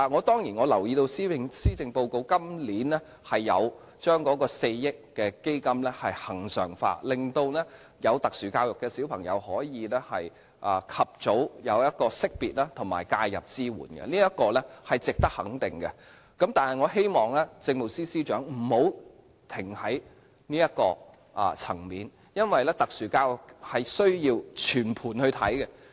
當然，我留意到今年的施政報告將4億元基金恆常化，令有特殊教育需要的兒童可以及早獲得識別及介入支援，這是值得肯定的，但我希望政務司司長不要停在這個層面，因為特殊教育需要全盤來看。